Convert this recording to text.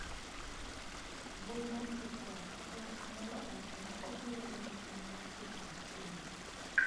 Mbui mar TikTok: ker Amollo owacho ni obiro loro chenro mar picha ma China